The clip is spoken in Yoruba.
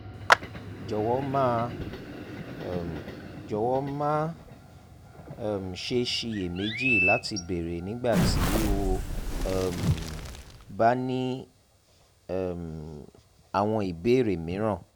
jọwọ má um jọwọ má um ṣe ṣiyèméjì láti béèrè nígbà tí o um bá ní um àwọn ìbéèrè mìíràn